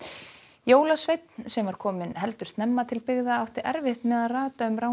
jólasveinn sem var kominn heldur snemma til byggða átti erfitt með að rata um